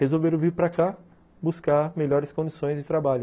Resolveram vir para cá buscar melhores condições de trabalho.